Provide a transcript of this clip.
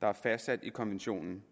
der er fastsat i konventionen